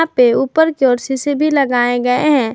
पे ऊपर भी लगाये गए है।